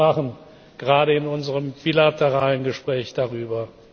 wir sprachen gerade in unserem bilateralen Gespräch darüber.